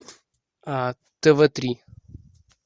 тв три